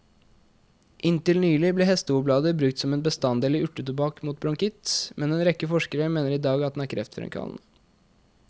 Inntil nylig ble hestehovblader brukt som en bestanddel i urtetobakk mot bronkitt, men en rekke forskere mener i dag at den er kreftfremkallende.